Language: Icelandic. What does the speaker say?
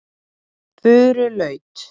Furulaut